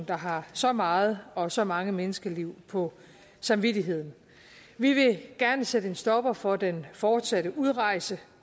der har så meget og så mange menneskeliv på samvittigheden vi vil gerne sætte en stopper for den fortsatte udrejse